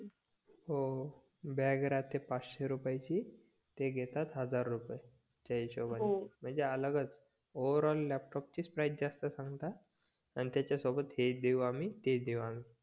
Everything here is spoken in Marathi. हो बॅग राहते पाचशे रुपयाची ते घेतात हजार रुपये त्या हिसोबाने म्हणजे अलगच ओव्हरऑल लॅपटॉपची प्राईझ जास्त सांगतात आणि त्याच्यासोबत हे देवू आम्ही ते देवू आम्ही